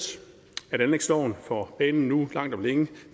at for banen nu langt om længe